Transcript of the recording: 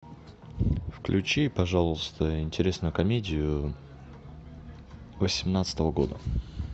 включи пожалуйста интересную комедию восемнадцатого года